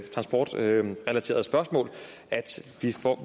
transportrelaterede spørgsmål